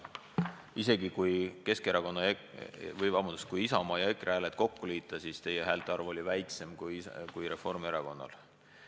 Isegi kui Isamaa ja EKRE hääled kokku liita, on teie häälte arv väiksem kui Reformierakonnal.